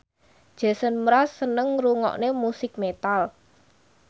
Jason Mraz seneng ngrungokne musik metal